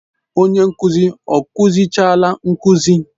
Onye nkuzi ọ kụzichaala nkuzi?